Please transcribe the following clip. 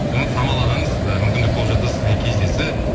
самал ағаңыз і мүмкіндік болып жатса сізбен кездесіп